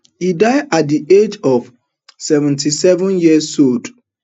e die at di age of seventy-seven years old